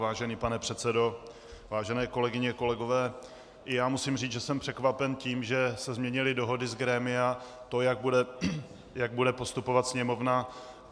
Vážený pane předsedo, vážené kolegyně, kolegové, i já musím říci, že jsem překvapen tím, že se změnily dohody z grémia, to, jak bude postupovat Sněmovna.